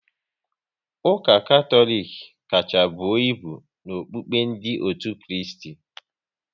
Ụka Katọlik kacha buo ibu n'okukpe ndị otu Kristi